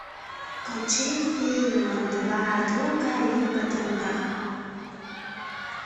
включи фильм два друга и подруга